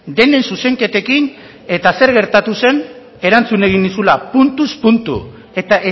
denen zuzenketekin eta zer gertatu zen erantzun egin nizula puntuz puntu eta